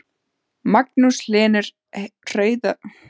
Magnús Hlynur Hreiðarsson: En hvernig sérðu framtíð Vonar?